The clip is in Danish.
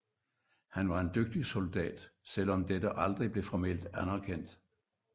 Han var en dygtig soldat selv om dette aldrig blev formelt anderkendt